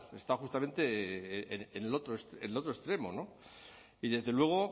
está justamente en el otro extremo no y desde luego